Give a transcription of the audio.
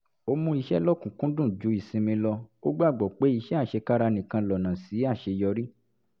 ó mú iṣẹ́ lọ́kùn-ún-kúndùn ju ìsinmi lọ ó gbàgbọ́ pé iṣẹ́ àṣekára nìkan lọ́nà sí àṣeyọrí